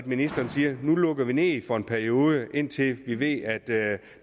ministeren siger at nu lukker vi ned for en periode indtil vi ved at der